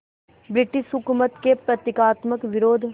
British हुकूमत के प्रतीकात्मक विरोध